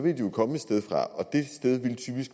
jo komme et sted fra og